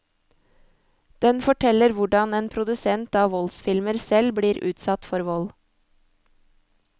Den forteller hvordan en produsent av voldsfilmer selv blir utsatt for vold.